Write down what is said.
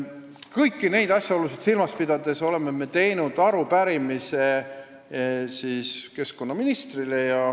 Kõiki neid asjaolusid silmas pidades oleme esitanud arupärimise keskkonnaministrile.